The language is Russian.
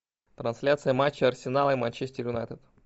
трансляция матча арсенал и манчестер юнайтед